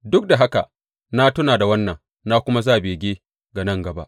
Duk da haka na tuna da wannan na kuma sa bege ga nan gaba.